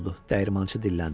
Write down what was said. dəyirmançı dilləndi.